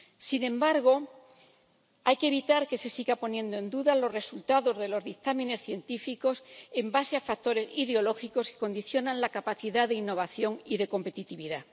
Sin embargo, hay que evitar que se sigan poniendo en duda los resultados de los dictámenes científicos en base a factores ideológicos que condicionan la capacidad de innovación y de competitividad.